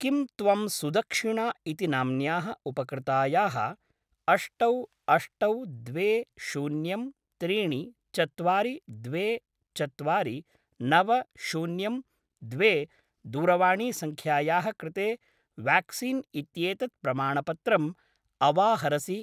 किं त्वं सुदक्षिणा इति नाम्न्याः उपकृतायाः अष्टौ अष्टौ द्वे शून्यं त्रीणि चत्वारि द्वे चत्वारि नव शून्यं द्वे दूरवाणीसङ्ख्यायाः कृते व्याक्सीन् इत्येतत् प्रमाणपत्रम् अवाहरसि?